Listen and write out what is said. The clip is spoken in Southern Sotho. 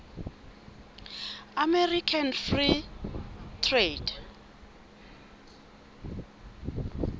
american free trade